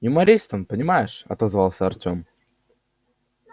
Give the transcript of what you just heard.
юморист он понимаешь отозвался артём